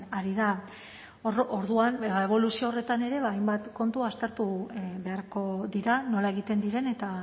ari da orduan eboluzio horretan ere ba hainbat kontu aztertu beharko dira nola egiten diren eta